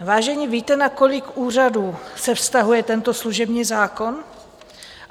Vážení, víte, na kolik úřadů se vztahuje tento služební zákon?